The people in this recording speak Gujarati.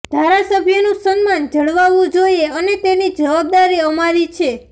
ધારાસભ્યનું સન્માન જળવાવું જોઈએ અને તેની જવાબદારી અમારી છે